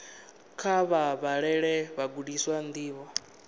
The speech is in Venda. kha vha vhalele vhagudiswa ndivho